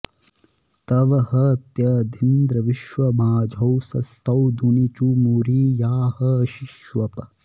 तव ह त्यदिन्द्र विश्वमाजौ सस्तो धुनीचुमुरी या ह सिष्वप्